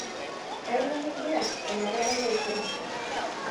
kanyeu nigira ometabai taisere